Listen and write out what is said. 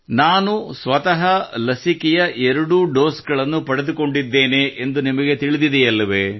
ನಾನು ಸ್ವತಃ ಲಸಿಕೆಯ ಎರಡೂ ಡೋಸ್ ಗಳನ್ನು ಪಡೆದುಕೊಂಡಿದ್ದೇನೆಂದು ನಿಮಗೆ ತಿಳಿದಿದೆಯಲ್ಲವೇ